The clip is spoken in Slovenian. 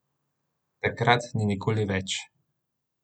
Takrat in nikoli več!